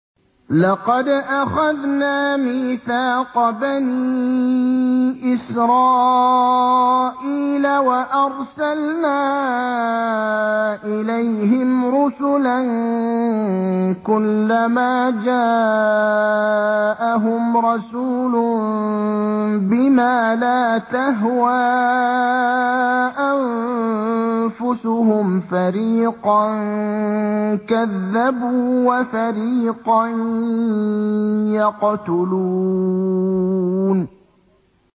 لَقَدْ أَخَذْنَا مِيثَاقَ بَنِي إِسْرَائِيلَ وَأَرْسَلْنَا إِلَيْهِمْ رُسُلًا ۖ كُلَّمَا جَاءَهُمْ رَسُولٌ بِمَا لَا تَهْوَىٰ أَنفُسُهُمْ فَرِيقًا كَذَّبُوا وَفَرِيقًا يَقْتُلُونَ